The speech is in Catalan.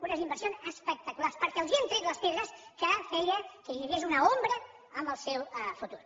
unes inversions espectaculars perquè els hem tret les pedres que feien que hi hagués una ombra en el seu futur